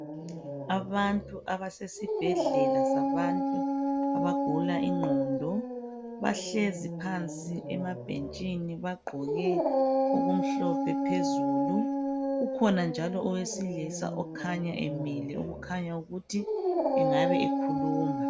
Abantu abasesibhedlela sabantu abagula ingqondo bahlezi phansi emabhentsini bagqoke okumhlophe phezulu kukhona njalo owesilisa okhanya emile okukhanya ukuthi angabe ekhuluma.